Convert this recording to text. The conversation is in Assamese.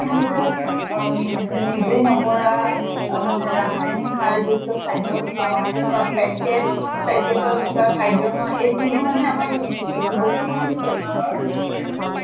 নিজে নকৰা অ মানে ৰাসায়নিক সাৰ যুক্ত খাদ্য় খাওঁ বা packet packet ত থকা খাদ্য় খাওঁ এইখিনি মানে মামাক বহুত খিনি বেমাৰৰ অহ